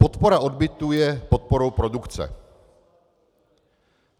Podpora odbytu je podporou produkce.